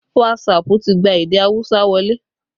Wasaapu ti gba èdè àwúsá wọlé